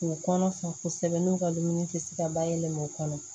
K'u kɔnɔ fɛ kosɛbɛ n'u ka dumuni tɛ se ka bayɛlɛma u kɔnɔ